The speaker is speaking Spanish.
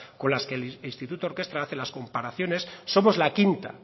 con las que el instituto orkestra hace las comparaciones somos la quinta